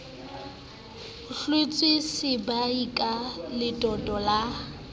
hlwatswa sebae ka letoto la